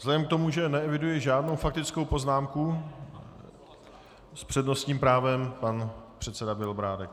Vzhledem k tomu, že neeviduji žádnou faktickou poznámku, s přednostním právem pan předseda Bělobrádek.